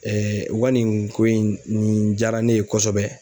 u ka nin ko in nin jaara ne ye kosɛbɛ.